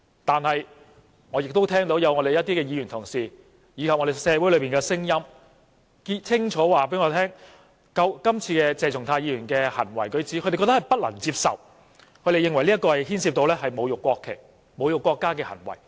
然而，我亦聽到一些議員及社會裏的聲音，清楚告訴我，他們不能接受鄭松泰議員今次的行為舉止，認為這牽涉到侮辱國旗、國家的行為。